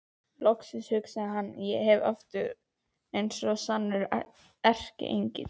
Loksins, hugsaði hann, verð ég aftur eins og sannur erkiengill.